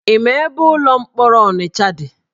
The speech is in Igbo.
Ị ma ebe ụlọ mkpọrọ Ọnịcha dị?